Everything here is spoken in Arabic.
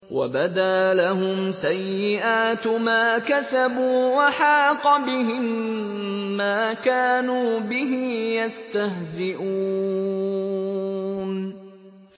وَبَدَا لَهُمْ سَيِّئَاتُ مَا كَسَبُوا وَحَاقَ بِهِم مَّا كَانُوا بِهِ يَسْتَهْزِئُونَ